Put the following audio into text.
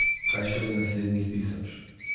Kaj šele naslednjih tisoč.